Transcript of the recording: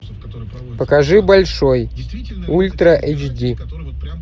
покажи большой ультра эйч ди